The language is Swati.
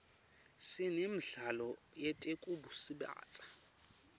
sinemidlalo yetekusubatsa